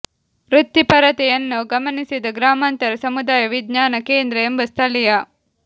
ವೃತ್ತಿಪರತೆ ಯನ್ನು ಗಮನಿಸಿದ ಗ್ರಾಮಾಂತರ ಸಮುದಾಯ ವಿಜ್ಞಾನ ಕೇಂದ್ರ ಎಂಬ ಸ್ಥಳೀಯ